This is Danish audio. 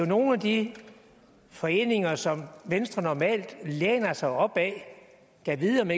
nogle af de foreninger som venstre normalt læner sig op ad gad vide om